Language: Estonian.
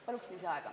Palun lisaaega!